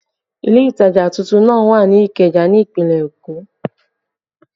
Ile ìtajà tuntun náà wà ní Ikeja ní ìpínlẹ̀ Èkó